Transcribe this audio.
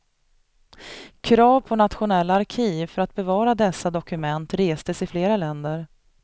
Krav på nationella arkiv för att bevara dessa dokument restes i flera länder.